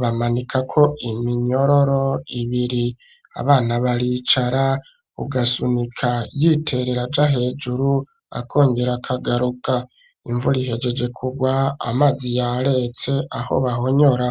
bamanikako iminyororo ibiri, abana baricara ugasunika y'iterera aja hejuru akongera akagaruka imvura ihejeje kugwa amazi ya retse aho bahonyora.